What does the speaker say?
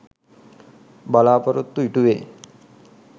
බලාපොරොත්තු ඉටු වේ